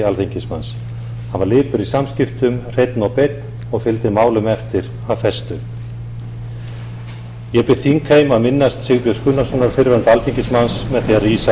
alþingismanns hann var lipur í samskiptum hreinn og beinn og fylgdu málum eftir af festu ég bið þingheim að minnast sigbjörns gunnarssonar fyrrverandi alþingismanns með því að rísa úr sætum